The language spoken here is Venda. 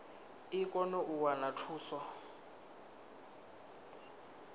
i kone u wana thuso